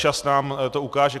Čas nám to ukáže.